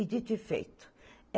E dito e feito.